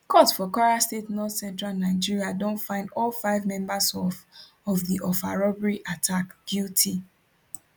court for kwara state northcentral nigeria don find all five members of of di offa robbery attack guilty